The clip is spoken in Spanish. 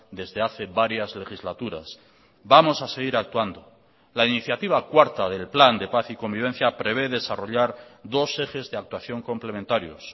desde hace varias legislaturas vamos a seguir actuando la iniciativa cuarta del plan de paz y convivencia prevé desarrollar dos ejes de actuación complementarios